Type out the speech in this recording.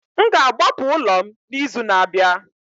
M ga-agbapụ ụlọ m n'izu na-abịa